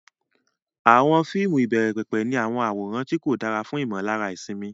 Àwọn fíìmù ìbẹ̀rẹ̀pẹ̀pẹ̀ ní àwọn àwòrán tí kò dára fún ìmọ̀lára ìsinmi.